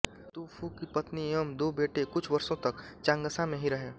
तू फू की पत्नी एवं दो बेटे कुछ वर्षों तक चांगशा में ही रहें